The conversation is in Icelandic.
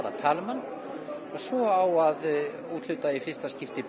að tala um hann og svo á að úthluta í fyrsta skipti